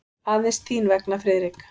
Aðeins þín vegna, Friðrik.